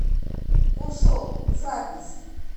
пушок запись